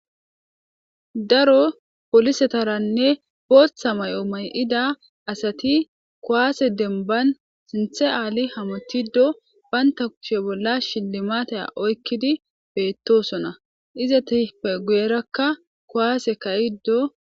Daro poolisetaranne booththa mayo mayida asati kuwaase demban sinthe aali hamuttiiddo bantta kushe bolla shillimaate oykki beettoosona.izetappe guyerakka kuwaasekaa7iddo